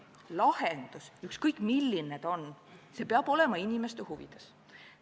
Aga lahendus, ükskõik milline ta on, peab olema inimeste huvides.